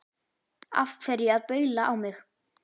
Af hverju að baula á mig?